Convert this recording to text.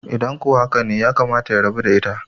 idan ko haka ne yakamata ya rabu da ita?